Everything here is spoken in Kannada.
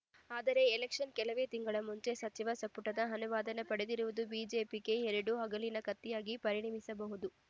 ಆದರೆ ಎಲೆಕ್ಷನ್‌ ಕೆಲವೇ ತಿಂಗಳುಗಳ ಮುಂಚೆ ಸಚಿವ ಸಂಪುಟದ ಅನುಮೋದನೆ ಪಡೆದಿರುವುದು ಬಿಜೆಪಿಗೆ ಎರಡು ಅಲಗಿನ ಕತ್ತಿಯಾಗಿ ಪರಿಣಮಿಸಬಹುದು